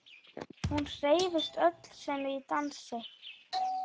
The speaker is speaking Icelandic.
Hún hreyfist öll sem í dansi.